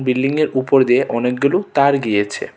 Building এর উপর দিয়ে অনেকগুলো তার গিয়েছে.